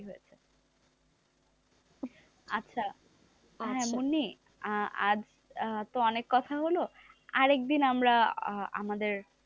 আচ্ছা হ্যাঁ মুন্নি, আজ তো অনেক কথা হল আর একদিন আমরা আমাদের,